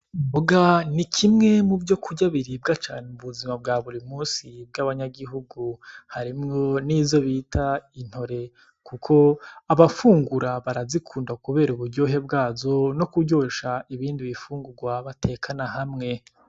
Imboga ni kimwe muvyokurya biribwa cane mubuzima bwa burimusi bw'abanyagihugu harimwo nizo bita intore kuko abafungura barazikunda kubera uburyohe bwazo ni kuryosha ibindi bifungugwa batekana hamwe.